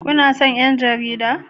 Kuna son 'yan jarida?